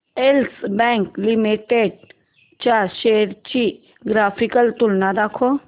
yes Bank Limited च्या shares ची graphical तुलना दाखव